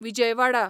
Vijayawada